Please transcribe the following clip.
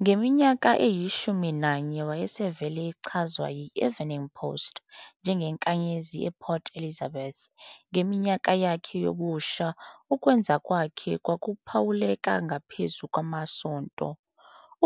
Ngeminyaka eyi-11, wayesevele echazwa yi- "Evening Post" "njengenkanyezi ePort Elizabeth", ngeminyaka yakhe yobusha ukwenza kwakhe kwakuphawuleka ngaphezu kwamasonto.